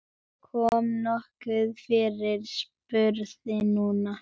Kom nokkuð fyrir? spurði Nína.